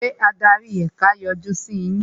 Ṣé adarí ẹ̀ka yọjú sí yín?